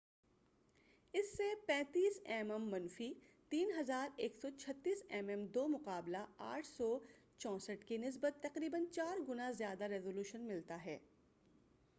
اس سے 35 M M منفی 3136 M M 2 بمقابلہ 864 کی نسبت تقریباً چار گنا زیادہ ریزولوشن ملتا ہے۔